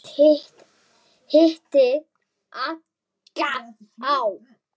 Hitti illa á.